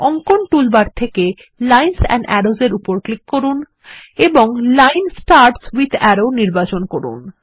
অঙ্কন টুলবার থেকে lines and arrows এর উপর ক্লিক করুন এবং লাইন স্টার্টস উইথ আরো নির্বাচন করুন